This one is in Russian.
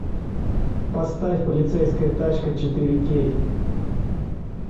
поставь полицейская тачка четыре кей